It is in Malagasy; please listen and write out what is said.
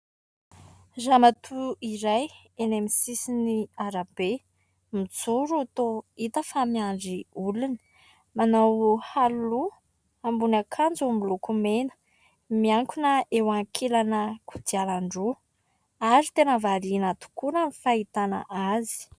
Ramatoa iray eny amin'ny sisiny arabe, mijoro toa hita fa miandry olona. Manao aro loha, ambony akanjo miloko mena, miankina eo ankilana kodiaran-droa ary tena variana tokoa raha ny fahitana azy.